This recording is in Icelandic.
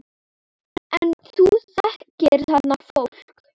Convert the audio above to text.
En þú þekkir þarna fólk?